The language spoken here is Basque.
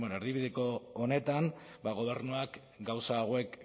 erdibideko honetan gobernuak gauza hauek